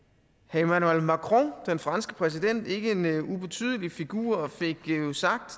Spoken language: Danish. emmanuel macron den franske præsident en ikke ubetydelig figur fik jo sagt